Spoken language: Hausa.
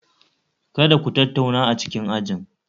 Kada Ku tattauna a cikin ajin